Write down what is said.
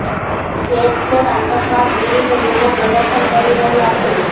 ઠેર ઠેર આતંકવાદ વિરૂધ્ધ લોકો પ્રદર્શન કરી રહ્યા છે